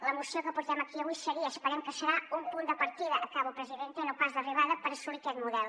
la moció que portem aquí avui seria esperem que ho serà un punt de partida acabo presidenta i no pas d’arribada per assolir aquest model